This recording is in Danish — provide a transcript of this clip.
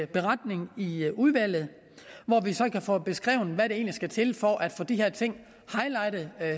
beretning i udvalget hvor vi så kan få beskrevet hvad der egentlig skal til for at få de her ting highlightet